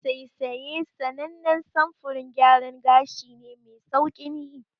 Saisaye sanannen samfurin gyaran gashi ne me sauƙin yi.